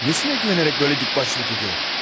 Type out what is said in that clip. Nəyinə güvənərək belə dikbaşlıq edir?